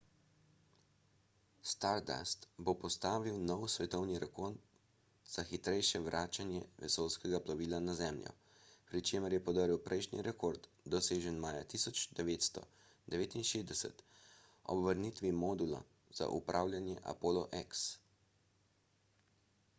stardust bo postavil nov svetovni rekord za najhitrejše vračanje vesoljskega plovila na zemljo pri čemer je podrl prejšnji rekord dosežen maja 1969 ob vrnitvi modula za upravljanje apollo x